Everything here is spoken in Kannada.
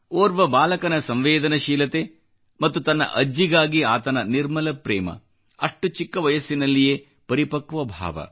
ಓರ್ವ ಬಾಲಕನ ಸಂವೇದನಶೀಲತೆ ಮತ್ತು ತನ್ನ ಅಜ್ಜಿಗಾಗಿ ಆತನ ನಿರ್ಮಲ ಪ್ರೇಮ ಅಷ್ಟು ಚಿಕ್ಕ ವಯಸ್ಸಿನಲ್ಲಿಯೇ ಪರಿಪಕ್ವ ಭಾವ